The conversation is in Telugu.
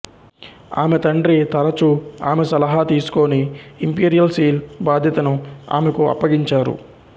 ఆమె తండ్రి తరచూ ఆమె సలహా తీసుకొని ఇంపీరియల్ సీల్ బాధ్యతను ఆమెకు అప్పగించారు